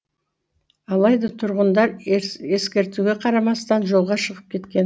алайда тұрғындар ескертуге қарамастан жолға шығып кеткен